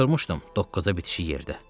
Oturmuşdum doqqaza bitişik yerdə.